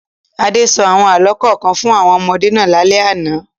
Adé sọ àwọn àlọ́ kọ̀ọ̀kan fún àwọn ọmọdé náà lálẹ́ àná.